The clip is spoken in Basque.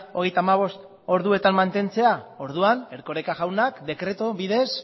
hogeita hamabost orduetan mantentzea orduan erkoreka jaunak dekretu bidez